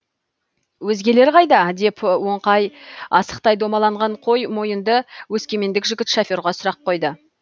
өзгелері қайда деп оңқай асықтай домаланған қой мойынды өскемендік жігіт шоферға сұрақ қойды